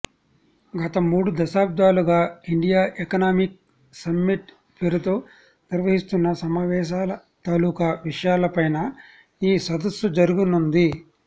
గత మూడు దశాబ్దాలుగా ఇండియా ఎకనామిక్ సమ్మిట్ పేరుతో నిర్వహిస్తున్న సమావేశాల తాలూకు విషయాలపైన ఈ సదస్సు జరగనుంది